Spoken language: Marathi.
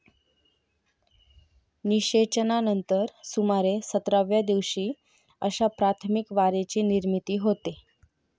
निशेचनानंतर सुमारे सतराव्या दिवशी अशा प्राथमिक वारेची निर्मिती होते.